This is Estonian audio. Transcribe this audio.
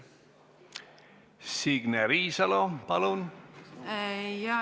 Signe Riisalo, palun!